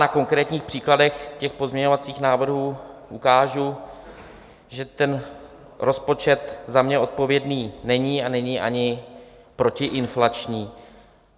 Na konkrétních příkladech těch pozměňovacích návrhů ukážu, že ten rozpočet za mě odpovědný není a není ani protiinflační.